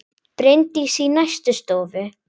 Bryndís í næstu stofu!